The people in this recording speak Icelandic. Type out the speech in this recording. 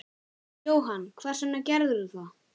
Jóhann: Hvers vegna gerðirðu það?